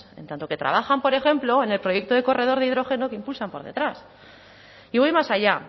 en tanto que trabajan por ejemplo en el proyecto de corredor de hidrógeno que impulsan por detrás y voy más allá